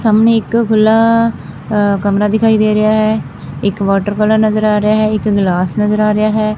ਸਾਹਮਣੇ ਇੱਕ ਖੁੱਲਾ ਅ ਕਮਰਾ ਦਿਖਾਈ ਦੇ ਰਿਹਾ ਹੈ। ਇੱਕ ਵਾਟਰ ਕੂਲਰ ਨਜ਼ਰ ਆ ਰਿਹਾ ਹੈ ਇੱਕ ਗਲਾਸ ਨਜ਼ਰ ਆ ਰਿਹਾ ਹੈ।